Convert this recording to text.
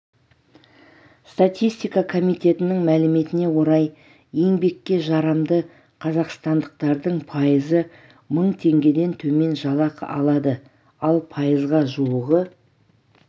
статистика комитетінің мәліметіне орай еңбекке жарамды қазақстандықтардың пайызы мың теңгеден төмен жалақы алады ал пайызға жуығы